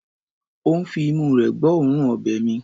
Ó ń fi imú rẹ̀ gbọ́ òórùn ọbẹ̀ mi.